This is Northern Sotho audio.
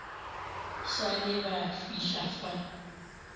sa le ba fihla fa